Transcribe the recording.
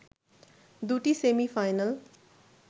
দুটি সেমি-ফাইনাল